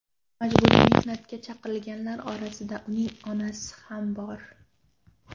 Majburiy mehnatga chaqirilganlar orasida uning onasi ham bor.